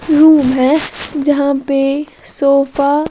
room है जहाँ पे सोफा--